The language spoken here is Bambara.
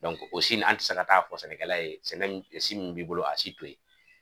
o si nin an ti se ka taa fɔ sɛnɛkɛla ye sɛnɛ m si min b'i bolo a si to ye